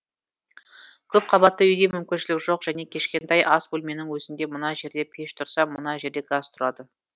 көпқабатты үйде мүмкіншілік жоқ және кішкентай ас бөлменің өзінде мына жерде пеш тұрса мына жерде газ тұрады